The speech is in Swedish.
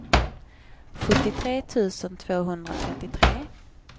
sjuttiotre tusen tvåhundratrettiotre